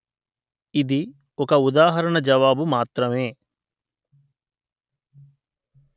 ఇది ఒక ఉదాహరణ జవాబు మాత్రమే